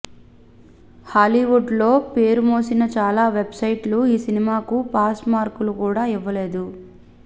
Hollywood లో పేరుమోసిన చాలా వెబ్ సైట్స్ ఈ సినిమాకు పాస్ మార్కులు కూడా ఇవ్వలేదు